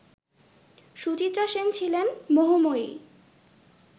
সুচিত্রা সেন ছিলেন মোহময়ী